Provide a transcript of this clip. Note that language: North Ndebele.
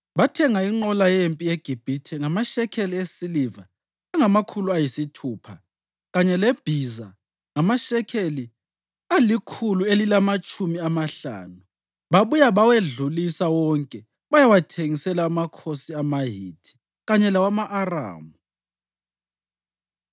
Bathenga inqola yempi eGibhithe ngamashekeli esiliva angamakhulu ayisithupha kanye lebhiza ngamashekeli alikhulu elilamatshumi amahlanu. Babuya bawedlulisa wonke bayawathengisela amakhosi amaHithi kanye lawama-Aramu.